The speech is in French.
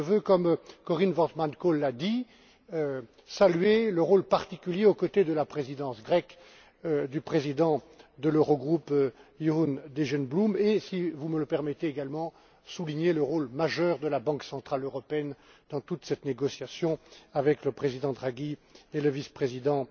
Mais je veux, comme Corien Wortmann Kool l'a dit, saluer le rôle particulier, aux côtés de la présidence grecque, du président de l'Eurogroupe Jeroen Dijsselbloem, et si vous me le permettez également souligner le rôle majeur de la Banque centrale européenne dans toute cette négociation, avec le président Draghi et le vice président